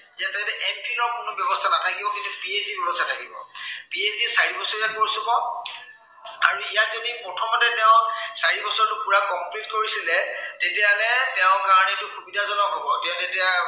ইয়াতে M phil ৰ কোনো ব্য়ৱস্থা নাথাকিব। কিন্তু PhD ৰ ব্য়ৱস্থা থাকিব। PhD চাৰিবছৰীয়া course হ'ব। আৰু ইয়াত যদি প্ৰথমতে তেওঁ চাৰি বছৰটো পূৰা complete কৰিছিলে, তেতিয়া হ'লে তেওঁৰ কাৰনে এইটো সুবিধাজনক হব। তেওঁ তেতিয়া